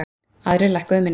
Aðrir lækkuðu minna.